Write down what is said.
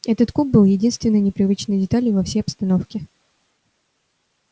этот куб был единственной непривычной деталью во всей обстановке